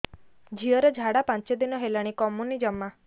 ଝିଅର ଝାଡା ପାଞ୍ଚ ଦିନ ହେଲାଣି କମୁନି ଜମା